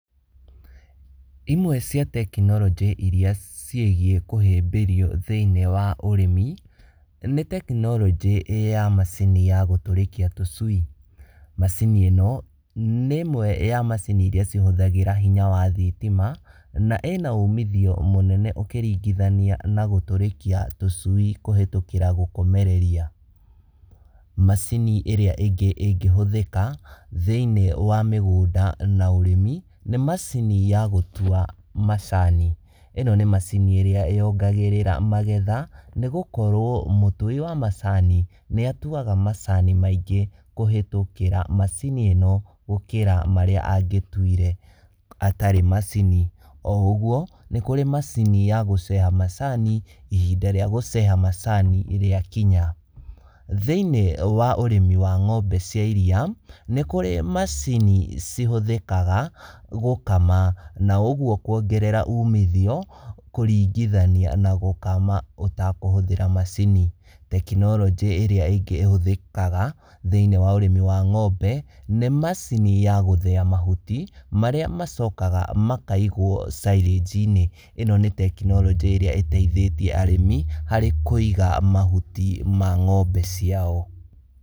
Imwe cia tekinoronjĩ iria ciĩgiĩ kũhĩmbĩrio thĩiniĩ wa ũrĩmi, nĩ tekinoronjĩ ya macini ya gũtũrĩkia tũcui. Macini ĩno, nĩ ĩmwe ya macini iria cihũthagĩra hinya wa thitima na ĩna umithio mũnene ũkĩringithania na gũtũrĩkia tũcui kũhĩtũkĩra gũkomereria. Macini ĩrĩa ĩngĩ ĩngĩhũthĩka thĩiniĩ wa mĩgũnda na ũrĩmi nĩ macini ya gũtua macani. Ĩno nĩ macini ĩrĩa yongagĩrĩra magetha, nĩgũkorwo mũtui wa macani nĩatuaga macani maingĩ kũhĩtũkĩra macini ĩno gũkĩra marĩa angĩtuire atarĩ macini. O ũguo, nĩkũrĩ macini ya gũceha macani, ihinda rĩa gũceha macani rĩa kinya. Thĩiniĩ wa ũrĩmi wa ng'ombe cia iria, nĩ kũrĩ macini cihũthĩkaga gũkama, na ũguo kuongerera umithio kũringithania na gũkama ũtakũhũthĩra macini. Tekinoronjĩ ĩrĩa ĩngĩ ĩhũthĩkaga thĩiniĩ wa ũrĩmi wa ng'ombe nĩ macini ya gũthĩa mahuti marĩa macokaga makaigwo silage -inĩ. Ĩno nĩ tekinoronjĩ ĩrĩa ĩteithĩtie arĩmi harĩ kũiga mahuti ma ng'ombe ciao.